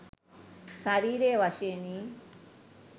ශරීරය වශයෙනි.